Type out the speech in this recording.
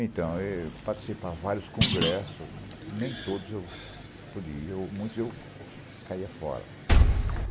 Então, eu participava de vários congressos, nem todos eu podia, muitos eu caía fora.